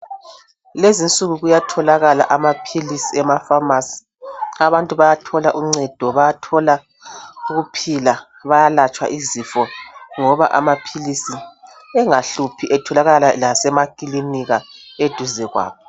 Lezinsuku kuyatholakala amaphilisi emapharmacy. Abantu bayathola uncedo, bayathola ukuphila bayalatshwa izifo ngoba amaphilisi engahluphi etholakala lasemakilinika eduze kwabo.